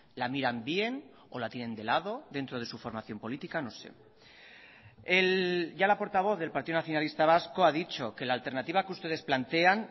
la miran bien o la tienen de lado dentro de su formación política no sé ya la portavoz del partido nacionalista vasco ha dicho que la alternativa que ustedes plantean